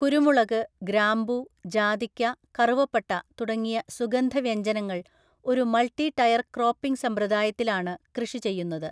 കുരുമുളക്, ഗ്രാമ്പൂ, ജാതിക്ക, കറുവപ്പട്ട തുടങ്ങിയ സുഗന്ധവ്യഞ്ജനങ്ങൾ ഒരു മൾട്ടി ടയർ ക്രോപ്പിംഗ് സമ്പ്രദായത്തിലാണ് കൃഷി ചെയ്യുന്നത്.